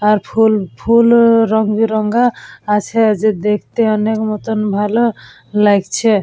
আর ফুল ফুল-অ রঙে রঙা আছে। যে দেখতে অনেক মতন ভালো লাগছে।